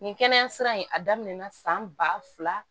Nin kɛnɛya sira in a daminɛ na san ba fila